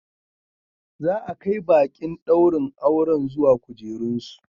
Za a kai baƙin ɗaurin auren zuwa kujerunsu.